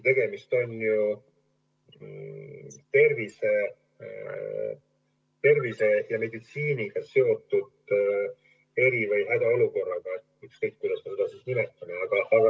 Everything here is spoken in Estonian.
Tegemist on ju tervise ja meditsiiniga seotud eri- või hädaolukorraga, ükskõik, kuidas me seda nimetame.